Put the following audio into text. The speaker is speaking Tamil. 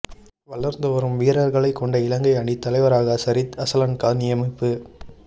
வளர்ந்துவரும் வீரர்களைக் கொண்ட இலங்கை அணித் தலைவராக சரித் அசலன்க நியமிப்பு